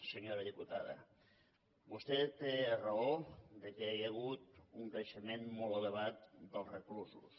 senyora diputada vostè té raó que hi ha hagut un creixement molt elevat dels reclusos